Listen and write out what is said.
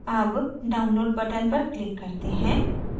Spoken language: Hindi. अब download button पर click करते हैं